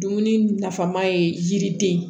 Dumuni nafama ye yiri den